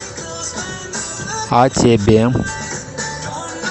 а тебе